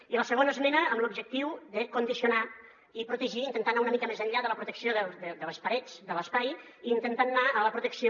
i la segona esmena amb l’objectiu de condicionar i protegir intentar anar una mica més enllà de la protecció de les parets de l’espai i intentant anar a la protecció